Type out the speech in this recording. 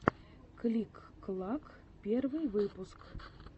клик клак первый выпуск